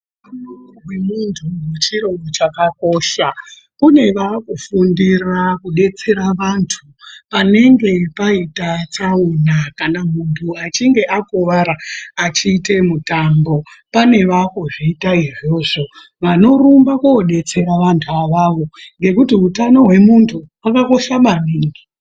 Utano hwemunhu chiro chakakosha. Kune vaakufundira kudetsera vantu, panenge paita tsaona, kana munhu achinge akuwara achiite mutambo. Pane vaakuzviita, vanorumba koodetsera vanhu avavo ngekuti utano hwemuntu, hwakakosha maningi.